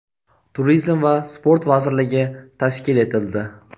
Turizm va sport vazirligi tashkil etildi.